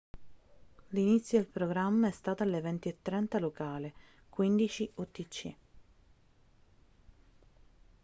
l'inizio del programma è stato alle 20:30 locali 15:00 utc